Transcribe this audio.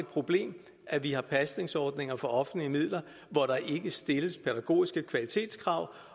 problem at vi har pasningsordninger for offentlige midler hvor der ikke stilles pædagogiske kvalitetskrav